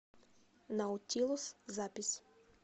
наутилус запись